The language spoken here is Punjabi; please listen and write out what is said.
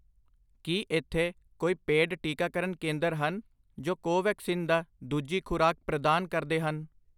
ਕੀ ਇੱਥੇ ਕੋਈ ਪੇਡ ਟੀਕਾਕਰਨ ਕੇਂਦਰ ਹਨ ਜੋ ਕੋਵੈਕਸਿਨ ਦਾ ਦੂਜੀ ਖੁਰਾਕ ਪ੍ਰਦਾਨ ਕਰਦੇ ਹਨ